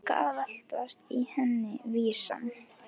Líka að veltast í henni vísan.